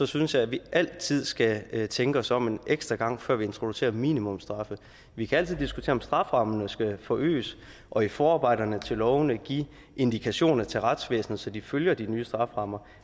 synes jeg at vi altid skal tænke os om en ekstra gang før vi introducerer minimumsstraffe vi kan altid diskutere om strafferammerne skal forøges og i forarbejderne til lovene give indikationer til retsvæsenet så de følger de nye strafferammer